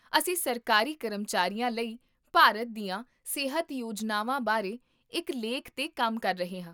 ਅਸੀਂ ਸਰਕਾਰੀ ਕਰਮਚਾਰੀਆਂ ਲਈ ਭਾਰਤ ਦੀਆਂ ਸਿਹਤ ਯੋਜਨਾਵਾਂ ਬਾਰੇ ਇੱਕ ਲੇਖ 'ਤੇ ਕੰਮ ਕਰ ਰਹੇ ਹਾਂ